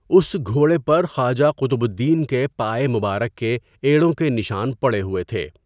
اس گھوڑے پر خواجہ قطب الدین کے پائے مبارک کے ایڑوں کے نشان پڑے ہوۓ تھے.